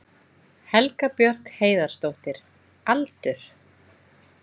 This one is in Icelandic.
Helga Björk Heiðarsdóttir Aldur?